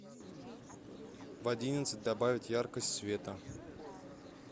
в одиннадцать добавить яркость света